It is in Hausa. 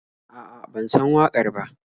A'a, ban san waƙar ba.